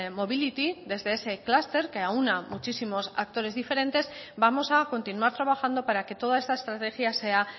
mobility desde ese clúster que aúna a muchísimos actores diferentes vamos a continuar trabajando para que toda esta estrategia sea